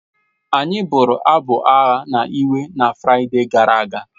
Anyị bụrụ abụ agha na ịwe na Fraịde gara aga